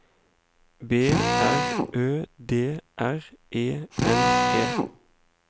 B R Ø D R E N E